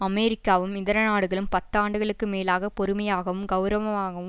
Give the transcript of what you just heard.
அமெரிக்காவும் இதர நாடுகளும் பத்து ஆண்டுகளுக்கு மேலாக பொறுமையாகவும் கெளரவமாகவும்